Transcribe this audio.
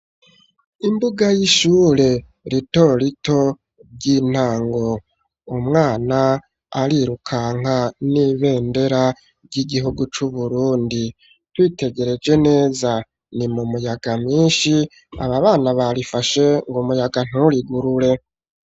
Imbuga y'ishure ritorito ry'intango, umwana arirukanga n'ibendera ry'igihugu c'Uburundi. Twitegereje neza ni mu muyaga mwinshi ,aba bana barifashe ngo umuyaga nturigurure.